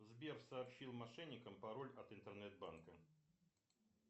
сбер сообщил мошенникам пароль от интернет банка